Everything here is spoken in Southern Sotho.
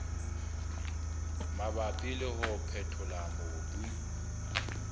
mabapi le ho phethola mobu